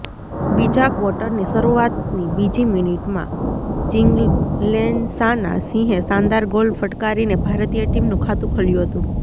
બીજા ક્વોટરની શરૂઆતની બીજી મીનિટમાં ચિંગ્લેનસાના સિંહે શાનદાર ગોલ ફટકારીને ભારતીય ટીમનું ખાતું ખોલ્યું હતું